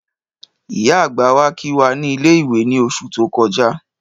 Ìyá àgbà wá kí wá ní ilé-ìwé ni oṣù tó kọjá